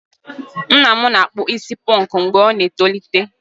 Nna m na-akpụ isi ponku mgbe ọ ná-etolite.